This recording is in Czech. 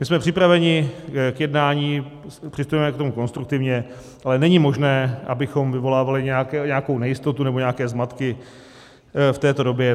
My jsme připraveni k jednání, přistupujeme k tomu konstruktivně, ale není možné, abychom vyvolávali nějakou nejistotu nebo nějaké zmatky v této době.